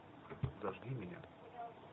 зажги меня